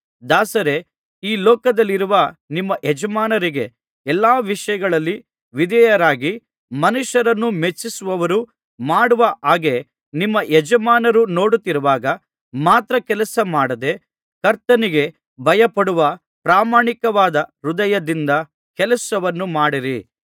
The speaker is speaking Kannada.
ದಾಸರೇ ಈ ಲೋಕದಲ್ಲಿರುವ ನಿಮ್ಮ ಯಜಮಾನರಿಗೆ ಎಲ್ಲಾ ವಿಷಯಗಳಲ್ಲಿ ವಿಧೇಯರಾಗಿರಿ ಮನುಷ್ಯರನ್ನು ಮೆಚ್ಚಿಸುವವರು ಮಾಡುವ ಹಾಗೆ ನಿಮ್ಮ ಯಜಮಾನರು ನೋಡುತ್ತಿರುವಾಗ ಮಾತ್ರ ಕೆಲಸಮಾಡದೆ ಕರ್ತನಿಗೆ ಭಯಪಡುವ ಪ್ರಾಮಾಣಿಕವಾದ ಹೃದಯದಿಂದ ಕೆಲಸ ಮಾಡಿರಿ